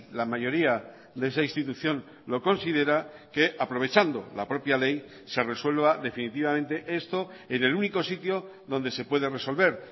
la mayoría de esa institución lo considera que aprovechando la propia ley se resuelva definitivamente esto en el único sitio donde se puede resolver